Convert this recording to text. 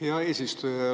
Hea eesistuja!